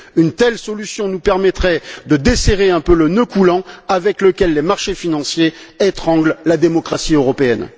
Une telle solution nous permettrait de desserrer un peu le nœud coulant avec lequel les marchés financiers étranglent la démocratie européenne.